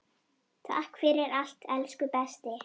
Takk fyrir allt elsku besti.